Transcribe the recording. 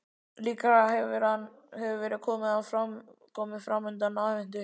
Líklega hefur verið komið framundir aðventu.